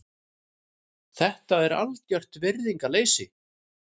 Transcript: Þetta er algert virðingarleysi.